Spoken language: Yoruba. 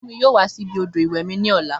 Fúnmi yóò wá síbi odò ìwẹ̀ mi ní ọ̀la